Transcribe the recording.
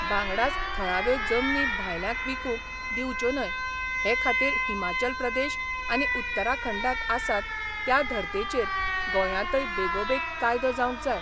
वांगडाच थळाव्यो जमनी भायल्यांक विकूंक दिवच्यो न्हय हे खातीर हिमाचल प्रदेश आनी उत्तराखंडांत आसात त्या धर्तेचेर गोंयांतय बेगोबेग कायदो जावंक जाय.